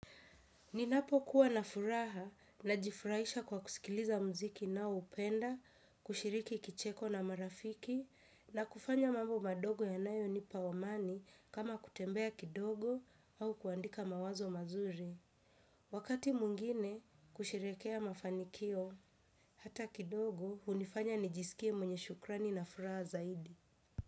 Ninapokuwa na furaha najifurahisha kwa kusikiliza muziki ninaoupenda kushiriki kicheko na marafiki na kufanya mambo madogo yanayonipa amani kama kutembea kidogo au kuandika mawazo mazuri wakati mwingine kusherehekea mafanikio hata kidogo hunifanya nijisikie mwenye shukrani na furaha zaidi.